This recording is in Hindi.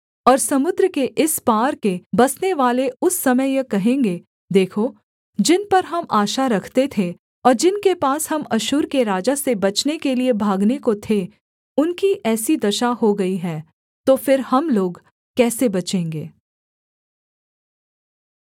और समुद्र के इस पार के बसनेवाले उस समय यह कहेंगे देखो जिन पर हम आशा रखते थे ओर जिनके पास हम अश्शूर के राजा से बचने के लिये भागने को थे उनकी ऐसी दशा हो गई है तो फिर हम लोग कैसे बचेंगे